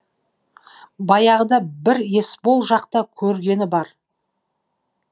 баяғыда бір есбол жақта көргені бар